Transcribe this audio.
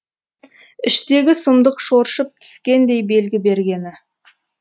іштегі сұмдық шоршып түскендей белгі бергені